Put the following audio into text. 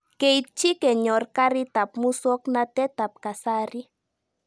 Keitchi kenyor karik ab muswognatet ab kasari